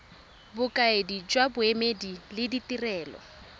bokaedi jwa boemedi le ditirelo